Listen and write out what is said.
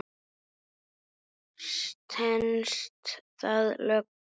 Stenst það lög?